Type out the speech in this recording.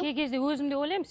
кей кезде өзім де ойлаймын